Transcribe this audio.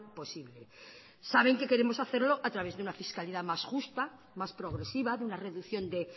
posible saben que queremos hacerlo a través de una fiscalidad más justa más progresiva de una reducción de